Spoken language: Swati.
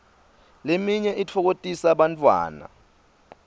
leminye itfokotisa bantfwana